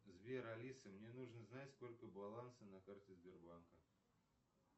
сбер алиса мне нужно знать сколько баланса на карте сбербанка